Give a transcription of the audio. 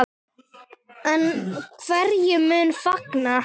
En hverjir munu fagna?